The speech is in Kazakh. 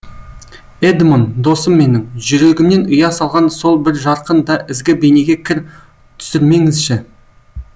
эдмон досым менің жүрегімнен ұя салған сол бір жарқын да ізгі бейнеге кір түсірмеңізші